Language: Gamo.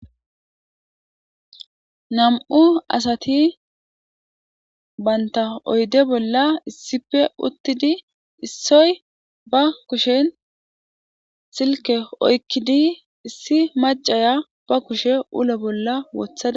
Nam'u asati banta oyide bola issippe utidi issoy ba kushen silike oyikidi issi maciya kushe ulo bola wotada.